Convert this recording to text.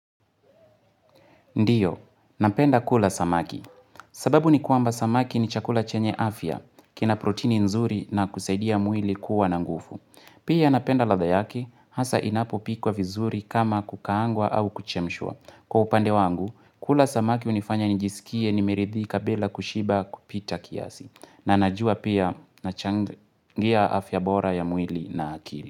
Ndiyo, napenda kula samaki. Sababu ni kwamba samaki ni chakula chenye afya, kina protini nzuri na kusaidia mwili kuwa na ngufu. Pia napenda ladha yake, hasa inapopikwa vizuri kama kukaangwa au kuchemshwa. Kwa upande wangu, kula samaki unifanya njisikie nimeridhika bila kushiba kupita kiasi. Na najua pia nachangia afya bora ya mwili na akili.